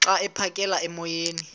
xa aphekela emoyeni